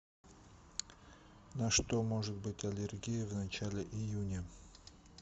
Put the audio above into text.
на что может быть аллергия в начале июня